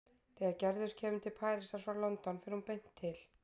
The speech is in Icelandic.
Þegar Gerður kemur til Parísar frá London fer hún beint til